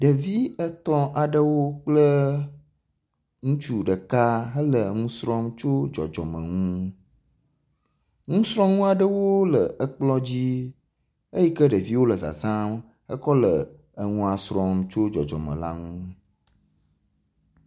Ɖevi etɔ̃ aɖewo kple ŋutsu ɖeka, hele nu srɔm tso dzɔdzɔmenuwo ŋu. nusrɔ̃nu aɖewo le ekplɔ dzi eyike ɖeviwo le zazam ekɔle enua srɔ̃m tso dzɔdzɔme la ŋu.